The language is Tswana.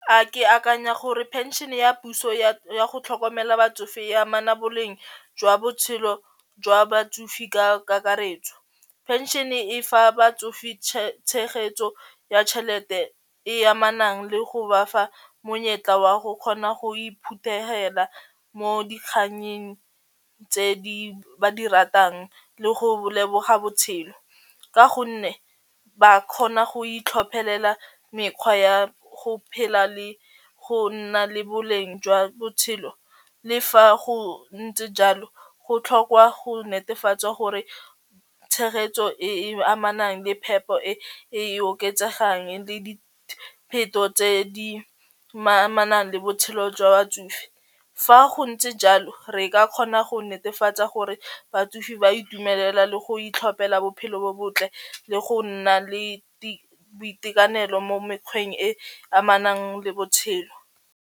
A ke akanya gore pension ya puso ya go tlhokomela batsofe e amana boleng jwa botshelo jwa batsofe ka kakaretso. Phenšene e fa batsofe tshegetso ya tšhelete e amanang le go ba fa monyetla wa go kgona go iphuthehela mo dikganyeng tse di ba di ratang le go leboga botshelo, ka gonne ba kgona go itlhophelela mekgwa ya go phela le go nna le boleng jwa botshelo le fa go ntse jalo go tlhokwa go netefatswa gore tshegetso e e amanang le phepo e e oketsegang le dipheto tse di amanang le botshelo jwa batsofe. Fa go ntse jalo re ka kgona go netefatsa gore batsofe ba itumelela le go itlhophela bophelo bo botle le go nna le boitekanelo mo mekgweng e amanang le botshelo.